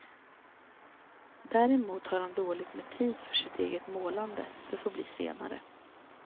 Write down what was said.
Däremot har han dåligt med tid för sitt eget målande, det får bli senare.